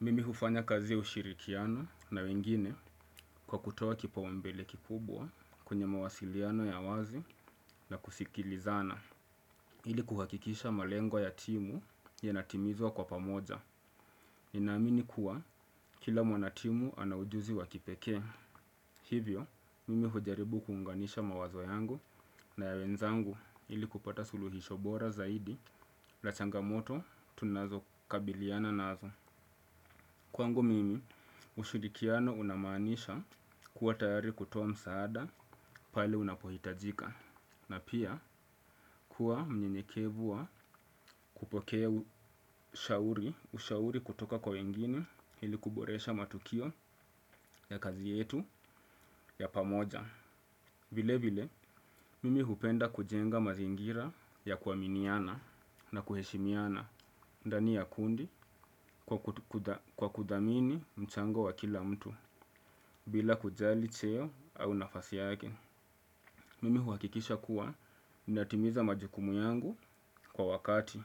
Mimi hufanya kazi ya ushirikiano na wengine kwa kutoa kipaumbele kikubwa, kwenye mawasiliano ya wazi na kushikilizana. Ili kuhakikisha malengo ya timu, ya natimizwa kwa pamoja. Ninaamini kuwa, kila mwana timu ana ujuzi wa kipekee. Hivyo, mimi hujaribu kuunganisha mawazo yangu na ya wenzangu, ili kupata suluhisho bora zaidi, la changa moto tunazo kabiliana nazo. Kwangu mimi, ushudikiano unamanisha, kuwa tayari kutoa msaada, pale unapohitajika na pia, kuwa mnyenyekevu wa, kupokea shauri ushauri kutoka kwa wengine, hili kuboresha matukio ya kazi yetu, ya pamoja. Vile vile, mimi hupenda kujenga mazingira ya kuaminiana na kuheshimiana ndani ya kundi, kwa kudhamini mchango wa kila mtu. Bila kujali cheo, au nafasi yake. Mimi huakikisha kuwa, ninatimiza majukumu yangu kwa wakati,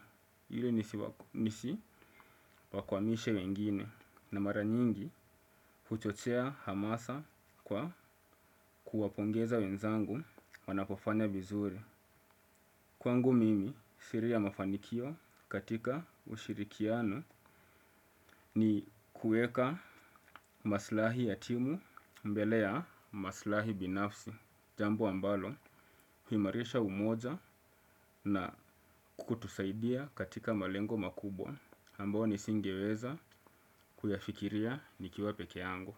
ili nisi wakwamishe wengine. Na mara nyingi, huchochea hamasa kwa kuwapongeza wenzangu, wanapofanya vizuri. Kwangu mimi. Siri ya mafanikio, katika ushirikiano ni kueka maslahi ya timu mbele ya maslahi binafsi. Jambo ambalo, huimarisha umoja na kutusaidia katika malengo makubwa. Ambao nisingeweza kuyafikiria, nikiwa pekee yangu.